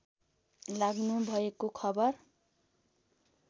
लाग्नुभएको खबर